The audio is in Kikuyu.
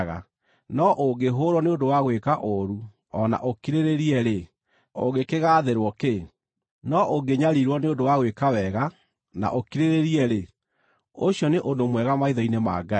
No ũngĩhũũrwo nĩ ũndũ wa gwĩka ũũru o na ũkirĩrĩrie-rĩ, ũngĩkĩgaathĩrwo kĩ? No ũngĩnyariirwo nĩ ũndũ wa gwĩka wega na ũkirĩrĩrie-rĩ, ũcio nĩ ũndũ mwega maitho-inĩ ma Ngai.